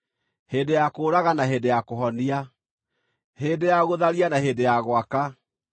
hĩndĩ ya kũũraga na hĩndĩ ya kũhonia, hĩndĩ ya gũtharia na hĩndĩ ya gwaka,